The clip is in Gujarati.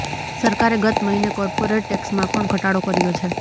સરકારે ગત મહીને કોર્પોરેટ ટેક્સમાં પણ ઘટાડો કર્યો છે